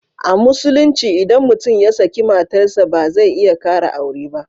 A Musulunci idan mutum ya saki matar sa ba zai iya kara aure ba.